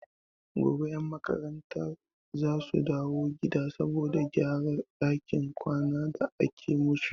Gobe 'yan makarantar za su dawo gida saboda gyaran dakin kwanan da ake musu.